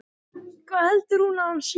Hvað heldur hún eiginlega að hann sé!